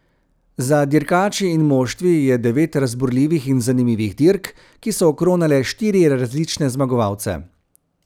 Za dirkači in moštvi je devet razburljivih in zanimivih dirk, ki so okronale štiri različne zmagovalce.